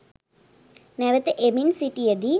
නැවත එමින් සිටියදී